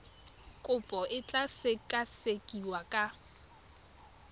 kopo e tla sekasekiwa ka